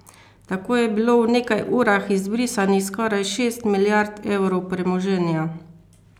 Tako je bilo v nekaj urah izbrisanih skoraj šest milijard evrov premoženja!